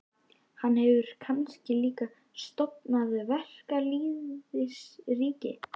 Hann hefur kannski líka stofnað verkalýðsríki?